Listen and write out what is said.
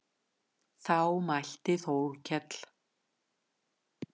Þá mælti Þórkell